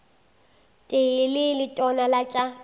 tee le letona la tša